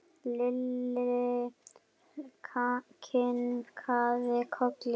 Lalli kinkaði kolli.